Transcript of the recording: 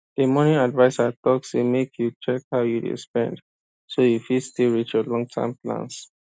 the money adviser talk say make you check how you dey spend so you fit still reach your longterm plans